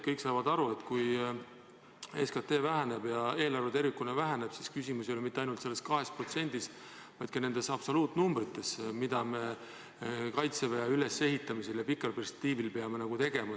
Kõik saavad aru, et kui SKT väheneb ja eelarve tervikuna väheneb, siis küsimus ei ole mitte ainult selles 2%-s, vaid ka absoluutsummades, mida me Kaitseväe ülesehitamisel pikas perspektiivis peame eraldama.